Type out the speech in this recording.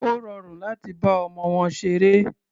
Ó rọrùn láti bá ọmọ wọn ṣeré.